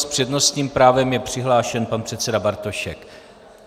S přednostním právem je přihlášen pan předseda Bartošek.